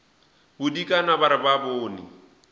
bodikana ba re ba bone